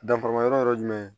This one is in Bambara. Danfara ma yɔrɔ ye jumɛn ye